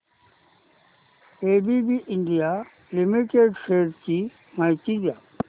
ABB India limited shares ची माहिती द्या